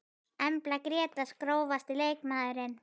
Embla Grétars Grófasti leikmaðurinn?